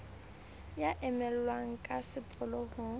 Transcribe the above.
ya emellwang ka sepolo ho